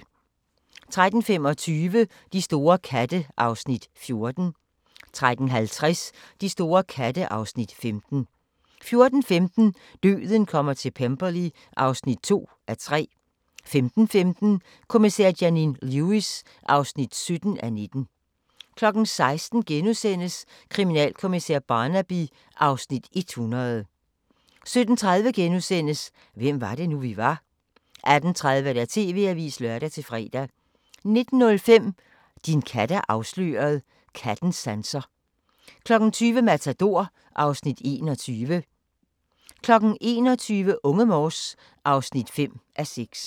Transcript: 13:25: De store katte (Afs. 14) 13:50: De store katte (Afs. 15) 14:15: Døden kommer til Pemberley (2:3) 15:15: Kommissær Janine Lewis (17:19) 16:00: Kriminalkommissær Barnaby (Afs. 100)* 17:30: Hvem var det nu, vi var? * 18:30: TV-avisen (lør-fre) 19:05: Din kat er afsløret: Kattens sanser 20:00: Matador (Afs. 21) 21:00: Unge Morse (5:6)